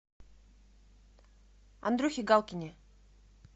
андрюхе галкине